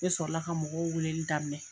Ne sɔrɔ la ka mɔgɔw weeleli daminɛ.